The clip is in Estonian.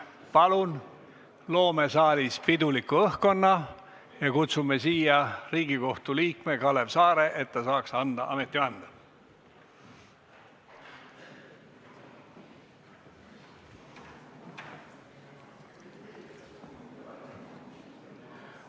Palun loome saalis piduliku õhkkonna ja kutsume siia Riigikohtu liikme, et ta saaks anda ametivande!